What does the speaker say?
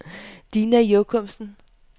Dina Jochumsen